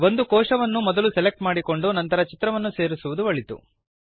ಒಂದು ಕೋಶವನ್ನು ಮೊದಲು ಸೆಲೆಕ್ಟ್ ಮಾಡಿಕೊಂಡು ನಂತರ ಚಿತ್ರವನ್ನು ಸೇರಿಸುವುದು ಒಳಿತು